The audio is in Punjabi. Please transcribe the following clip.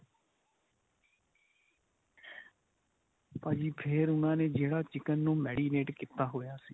ਭਾਜੀ ਫੇਰ ਉਨ੍ਹਾਂ ਨੇ ਜਿਹੜਾ chicken ਨੂੰ marinate ਕੀਤਾ ਹੋਇਆ ਸੀ.